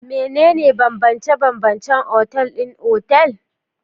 Menene bambance-bambancen otal ɗin otal?